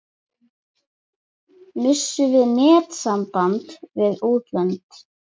Missum við netsamband við útlönd?